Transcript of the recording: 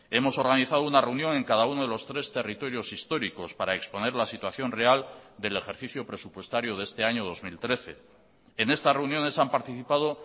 hemos organizado una reunión en cada uno de los tres territorios históricos para exponer la situación real del ejercicio presupuestario de este año dos mil trece en estas reuniones han participado